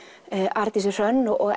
Arndísi Hrönn og